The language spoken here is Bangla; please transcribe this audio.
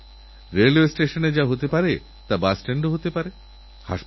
আর কিছুক্ষণের মধ্যেই তিনি বুঝতে পারেন যে তাঁর সবকিছু লুঠহয়ে গেছে